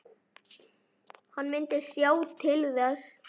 Hann myndi sjá til þess.